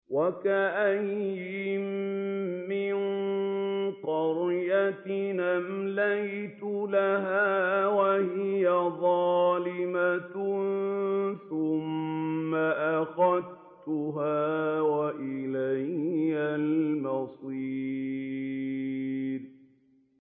وَكَأَيِّن مِّن قَرْيَةٍ أَمْلَيْتُ لَهَا وَهِيَ ظَالِمَةٌ ثُمَّ أَخَذْتُهَا وَإِلَيَّ الْمَصِيرُ